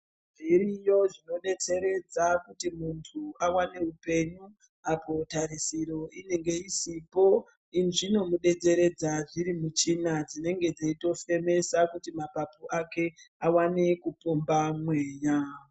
Zviriyobzvinodetseredza kuti muntubawane upenyu apa tarisiro inenge isipo izvinomudetsererza dsiri muchina dzinenge dzeitofemesa kuti mapapu ake awane kupomba mweya.